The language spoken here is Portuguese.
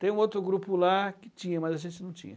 Tem um outro grupo lá que tinha, mas a gente não tinha.